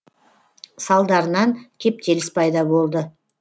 салдарынан кептеліс пайда болды